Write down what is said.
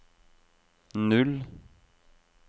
null